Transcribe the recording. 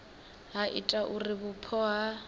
ha ita uri vhupo ha